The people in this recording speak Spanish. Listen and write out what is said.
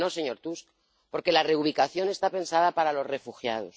Claro que no, señor Tusk, porque la reubicación está pensada para los refugiados.